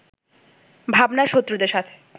ভাবনার শক্রদের সাথে